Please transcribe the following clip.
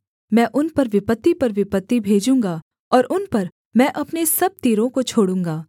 मैं उन पर विपत्ति पर विपत्ति भेजूँगा और उन पर मैं अपने सब तीरों को छोड़ूँगा